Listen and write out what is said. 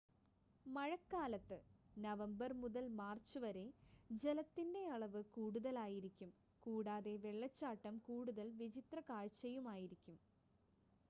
മഴക്കാലത്ത് നവംബർ മുതൽ മാർച്ച് വരെ ജലത്തിന്റെ അളവ് കൂടുതലായിരിക്കും കൂടാതെ വെള്ളച്ചാട്ടം കൂടുതൽ വിചിത്ര കാഴ്ചയുമായിരിക്കും